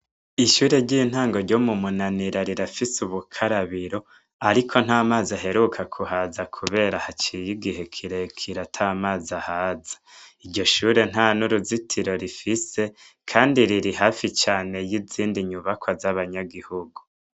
Ishure ry'intango ryo mu munanira rirafise ubukarabiro, ariko nt'amazi aheruka kuhaza kubera haciye igihe kirekire ata mazi ahaza iryo shure nta n'uruzitiro rifise, kandi riri hafi cane y'izindi nyubakwa z'abanyagihugu.